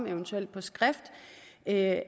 eventuelt på skrift at